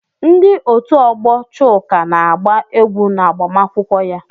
Ndị otu ọgbọ Chuka na-agba egwú n'agbamakwụkwọ ya.